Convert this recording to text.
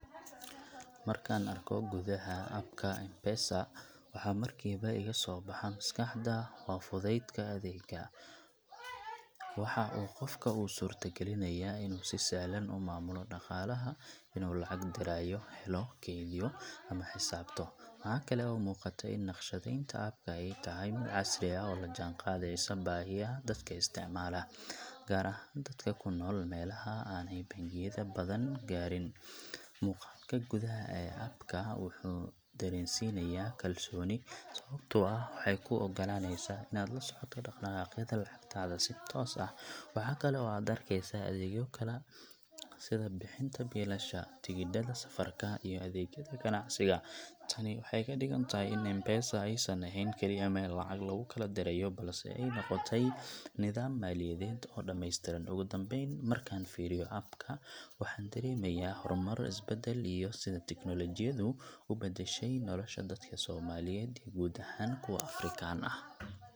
Markaan arko gudaha app ka M-Pesa, waxa markiiba iga soo baxa maskaxda waa fudeydka adeegga. Waxa uu qofka u suurtagelinayaa inuu si sahlan u maamulo dhaqaalaha inuu lacag dirayo, helo, kaydiyo, ama xisaabto. Waxaa kale oo muuqata in naqshadeynta app ka ay tahay mid casri ah oo la jaanqaadaysa baahiyaha dadka isticmaala gaar ahaan dadka ku nool meelaha aanay bangiyada badani gaadhin. Muuqaalka gudaha ee app ka wuxuu dareensiinayaa kalsooni, sababtoo ah waxay kuu oggolaaneysaa inaad la socoto dhaqdhaqaaqyada lacagtaada si toos ah. Waxa kale oo aad arkeysaa adeegyo kale sida bixinta biilasha, tigidhada safarka, iyo adeegyada ganacsiga. Tani waxay ka dhigan tahay in M-Pesa aysan ahayn kaliya meel lacag lagu kala dirayo, balse ay noqotay nidaam maaliyadeed oo dhameystiran. Ugu dambeyn, markaan fiiriyo app ka, waxa aan dareemayaa horumar, isbeddel, iyo sida tiknoolajiyadu u beddeshay nolosha dadka Soomaaliyeed iyo guud ahaan kuwa Afrikaan ah.